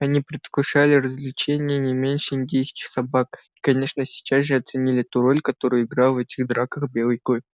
они предвкушали развлечение не меньше индейских собак и конечно сейчас же оценили ту роль какую играл в этих драках белый клык